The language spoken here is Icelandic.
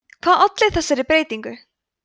hvað olli þessari breytingu